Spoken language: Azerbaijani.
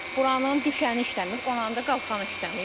Buranın düşəni işləmir, oranı da qalxanı işləmir.